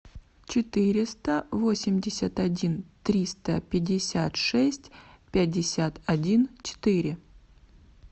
четыреста восемьдесят один триста пятьдесят шесть пятьдесят один четыре